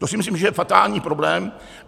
To si myslím, že je fatální problém.